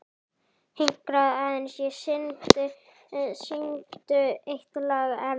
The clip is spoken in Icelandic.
Hinkraðu aðeins og syngdu eitt lag enn.